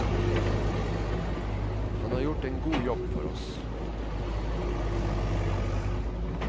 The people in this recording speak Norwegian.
Han har gjort en god jobb for oss.